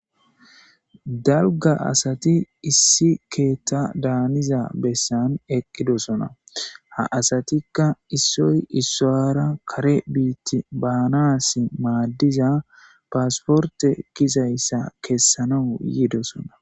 dalga asati issi keetta daaniza bessan eqqidosona ha asatikka issoy issoyara kare biitti baanas maaddiza paasporte gizayssa kessana yiidosona